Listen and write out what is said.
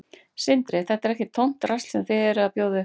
Sindri: Þetta er ekkert tómt drasl sem þið eruð að bjóða upp á?